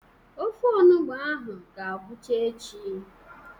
Ofe onụgbọ ahụ ga-agwụcha echi.